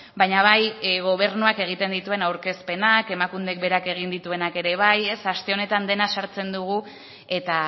baina bai gobernuak egiten dituen aurkezpenak emakundek berak egin dituenak ere bai aste honetan dena sartzen dugu eta